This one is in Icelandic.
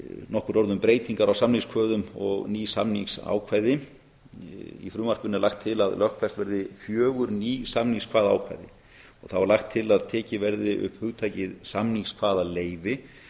nokkur orð um breytingar á samningskvöðum og ný samningsákvæði í frumvarpinu er lagt til að lögfest verði fjögur ný samningskvaðaákvæði það var lagt til að tekið verði upp hugtakið samningskvaðaleyfi